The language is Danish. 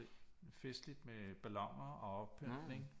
Festligt med balloner og oppyntning